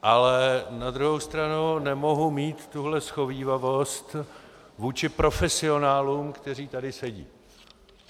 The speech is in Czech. Ale na druhou stranu nemohu mít tuhle shovívavost vůči profesionálům, kteří tady sedí.